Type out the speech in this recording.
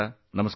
ನಮಸ್ಕಾರ